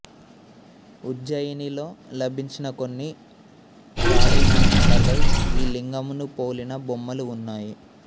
ఉజ్జయినిలో లభించిన కొన్ని రాగినాణాలపై ఈ లింగమును పోలిన బొమ్మలు ఉన్నాయి